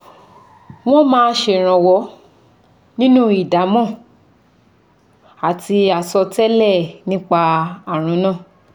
Wọ́n máa ṣèrànwọ́ nínú ìdámọ̀ àti àsọtẹ́lẹ̀ nípa ààrùn náà